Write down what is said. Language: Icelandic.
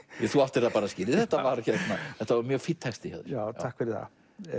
þú áttir það skilið þetta var þetta var mjög fínn texti hjá já takk fyrir það